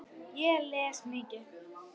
Ég les mikið.